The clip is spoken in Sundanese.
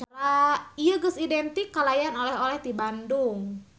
Ieu geus identik kalayan oleh-oleh ti Bandung.